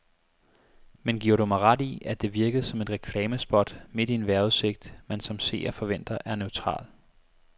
Men giver du mig ret i, at det virkede som et reklamespot midt i en vejrudsigt, man som seer forventer er neutral.